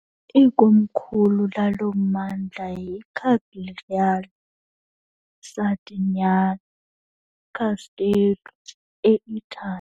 Ikomkhulu lalo mmandla yiCagliari, Sardinian - Casteddu, eItali.